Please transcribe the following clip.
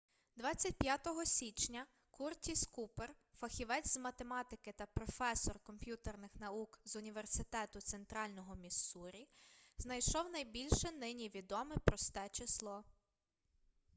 25-го січня куртіс купер фахівець з математики та професор комп'ютерних наук з університету центрального міссурі знайшов найбільше нині відоме просте число